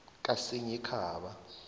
kasinyikhaba